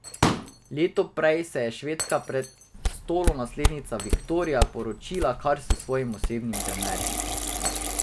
Leto prej se je švedska prestolonaslednica Viktorija poročila kar s svojim osebnim trenerjem.